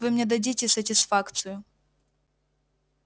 вы мне дадите сатисфакцию